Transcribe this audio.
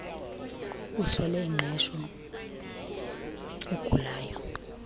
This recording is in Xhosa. uswele ingqesho ugulayo